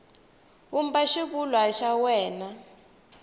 vumba xivulwa xa wena n